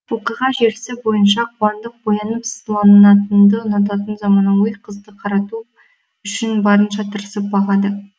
оқиға желісі бойынша қуандық боянып сыланғанды ұнататын замануи қызды қарату үшін барынша тырысып бағады